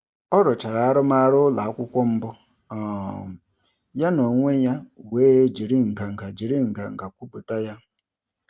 Ọ rụchara arụmarụ ụlọakwụkwọ mbụ um ya n'onwe ya were jiri nganga jiri nganga kwupụta ya.